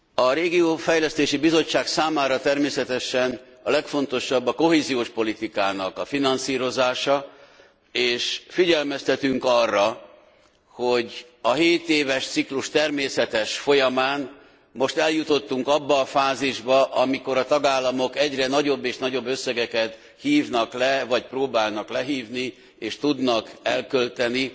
A Regionális Fejlesztési Bizottság számára természetesen a legfontosabb a kohéziós politikának a finanszírozása, és figyelmeztetünk arra, hogy a hétéves ciklus természetes folyamán most eljutottunk abba a fázisba, amikor a tagállamok egyre nagyobb és nagyobb összegeket hívnak le, vagy próbálnak lehívni és tudnak elkölteni